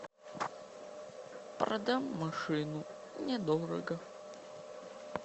продам машину недорого